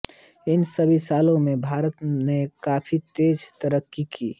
इन सभी सालो मे भारत ने काफी तेज़ तरक्की की